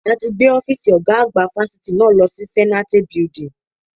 A ti gbé Ọ́fíìsì ọ̀gá àgbà fáfitì náà lọ sí Zenate Building.